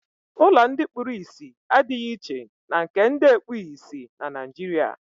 Ụlọ ndị kpuru ìsì adịghị iche na nke ndị ekpughị ìsì na Naịjirịa.